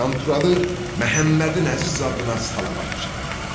Qanturalı Məhəmmədin Əziz adına salavat çəkdi.